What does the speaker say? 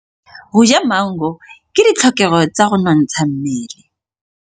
Go ja maungo ke ditlhokegô tsa go nontsha mmele.